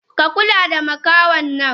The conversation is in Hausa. Ka kula da makahonnan!